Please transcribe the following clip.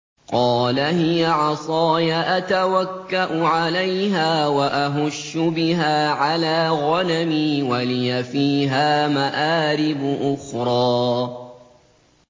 قَالَ هِيَ عَصَايَ أَتَوَكَّأُ عَلَيْهَا وَأَهُشُّ بِهَا عَلَىٰ غَنَمِي وَلِيَ فِيهَا مَآرِبُ أُخْرَىٰ